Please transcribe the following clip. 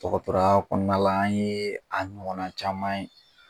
Dɔgɔtɔrɔya kɔnɔna la an ye ɲɔgɔnna caman ye.